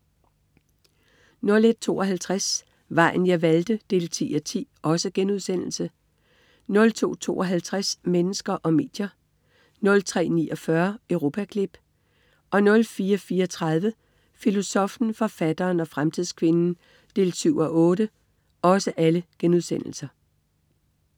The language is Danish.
01.52 Vejen jeg valgte 10:10* 02.52 Mennesker og medier* 03.49 Europaklip* 04.34 Filosoffen, forfatteren og fremtidskvinden 7:8*